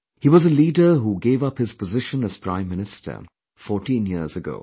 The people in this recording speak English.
He was a leader who gave up his position as Prime Minister fourteen years ago